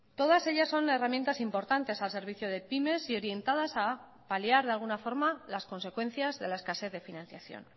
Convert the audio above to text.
todas ellas son herramientas importantes al servicio de pymes y orientadas a paliar de alguna forma las consecuencias de la escasez de financiación